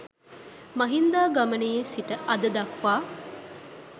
මහින්දාගමනයේ සිට අද දක්වා